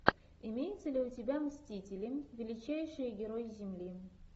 имеется ли у тебя мстители величайшие герои земли